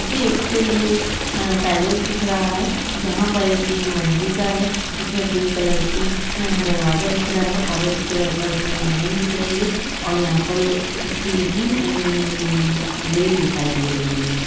मुझे एक यह पैलेस दिख रहा है जहाँ पर ये तीन मजलिका का है इस में पिक कलर का दरवाजा दिख रहा है और ओरेज कलर की इसमें लाइनिंग दिख रही है और स्टिल की अ- ग्रिल दिखाई दे रही है।